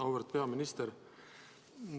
Auväärt peaminister!